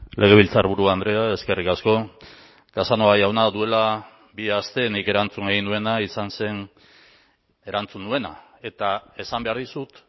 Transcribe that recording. legebiltzarburu andrea eskerrik asko casanova jauna duela bi aste nik erantzun egin nuena izan zen erantzun nuena eta esan behar dizut